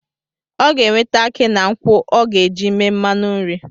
Ọ ga-eweta aki na nkwụ ọ ga-eji eme mmanụ nri